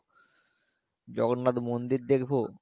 জগন্নাথ মন্দির দেখবো